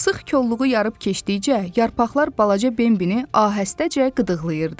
Sıx kolluğu yarıb keçdikcə, yarpaqlar balaca Bimbibi ahəstəcə qıdıqlayırdı.